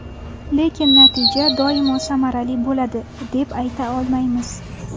Lekin natija doimo samarali bo‘ladi, deb ayta olmaymiz.